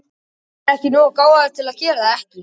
Hann er nógu gáfaður til að gera það ekki.